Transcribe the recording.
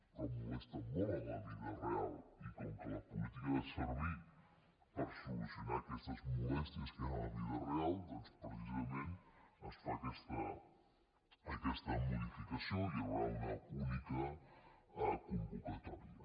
però molesten molt en la vida real i com que la política ha de servir per solucionar aquestes molèsties que hi ha a la vida real doncs precisament es fa aquesta modificació i hi haurà una única convocatòria